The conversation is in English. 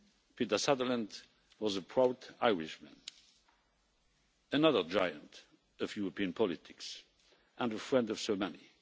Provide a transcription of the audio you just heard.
Peter Sutherland was a proud Irishman, another giant of European politics and a friend of so many.